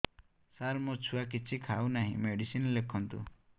ସାର ମୋ ଛୁଆ କିଛି ଖାଉ ନାହିଁ ମେଡିସିନ ଲେଖନ୍ତୁ